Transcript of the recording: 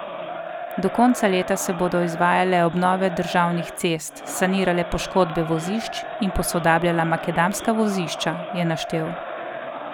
Do konca leta se bodo izvajale obnove državnih cest, sanirale poškodbe vozišč in posodabljala makadamska vozišča, je naštel.